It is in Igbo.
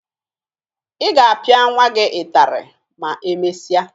Ị ga-apịa nwa gị ịtarị ma emesịa